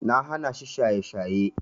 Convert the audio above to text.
Na hanashi shaye-shaye.